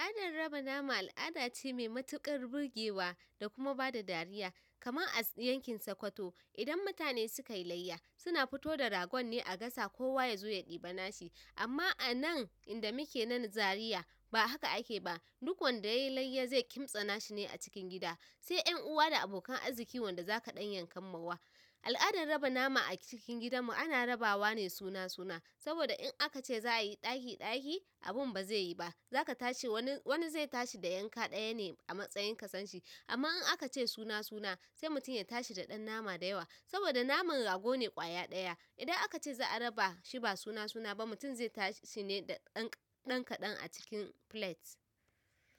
Al'adar raba nama al'ada ce mai matuƙar burgewa da kuma bada dariya. Kaman as yankin Sokoto idan mutane suka yi layya, suna fito da ragon ne a gasa kowa ya zo ya diba nashi. Amma anan inda muke nan Zariya ba haka ake ba, duk wanda yayi layya zai kimtsa na shi ne a cikin gida, sai 'yan uwa da abokan arziki wanda zaka ɗan yankan mawa. Al'adar raba nama a cikin gidan mu ana rabawa ne suna-suna, saboda in aka ce za'a yi ɗaki-ɗaki abun ba zai yi ba. Zaka tashi wani, wani zai tashi da yanka ɗaya ne a matsayin ka san shi. Amma in aka ce suna-suna sai mutum ya tashi da ɗan nama da yawa, saboda naman rago ne kwaya ɗaya. Idan aka ce za'a raba shi ba suna-suna ba mutum zai tashi shi ne da ɗan kaɗan a cikin plate.